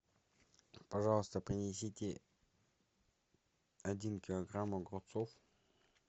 пожалуйста принесите один килограмм огурцов